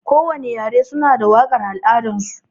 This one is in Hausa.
Kowani yare suna da waƙar al'adar su.